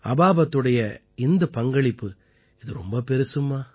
அபாபத்துடைய இந்தப் பங்களிப்பு இது மிகப் பெரியது அம்மா